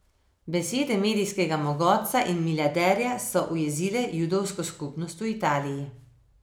Besede medijskega mogotca in milijarderja so ujezile judovsko skupnost v Italiji.